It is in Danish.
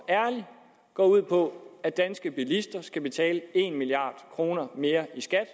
og ærligt går ud på at danske bilister skal betale en milliard kroner mere i skat